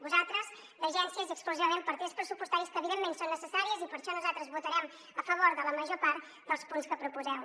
vosaltres d’agències i exclusivament partides pressupostàries que evidentment són necessàries i per això nosaltres votarem a favor de la major part dels punts que proposeu